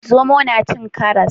Zomo na cin karas?